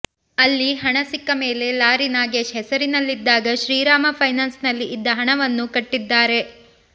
ಅಲ್ಲಿ ಹಣ ಸಿಕ್ಕ ಮೇಲೆ ಲಾರಿ ನಾಗೇಶ್ ಹೆಸರಿನಲ್ಲಿದ್ದಾಗ ಶ್ರೀರಾಮ ಫೈನಾನ್ಸ್ ನಲ್ಲಿ ಇದ್ದ ಹಣವನ್ನ ಕಟ್ಟಿದ್ದಾರೆ